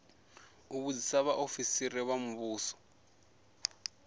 u vhudzisa vhaofisiri vha muvhuso